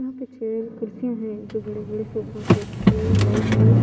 यहां पे चेयर कुर्सी हैं जो बड़े बड़े सोफा सेट जो वाइट और--